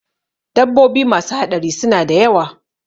Dabbobi masu haɗari suna da yawa